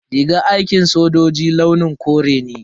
Rigar aikin sojoji launin kore ne.